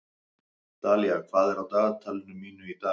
Dalía, hvað er á dagatalinu mínu í dag?